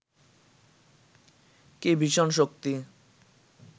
কি ভীষণ শক্তি